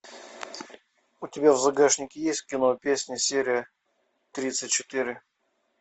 у тебя в загашнике есть кино песня серия тридцать четыре